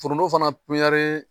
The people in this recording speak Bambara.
Foronto fana